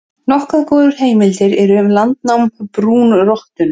Nokkuð góðar heimildir eru um landnám brúnrottunnar.